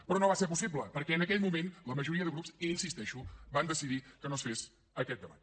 però no va ser possible perquè en aquell moment la majoria de grups hi insisteixo van decidir que no es fes aquest debat